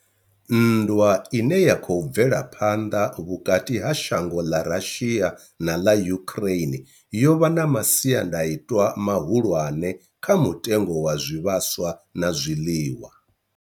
Nndwa ine ya khou bvela phanḓa vhukati ha shango ḽa Russia na ḽa Ukraine yo vha na masiandaitwa mahulwane kha mutengo wa zwivhaswa na zwiḽiwa.